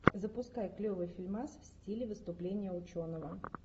запускай клевый фильмас в стиле выступление ученого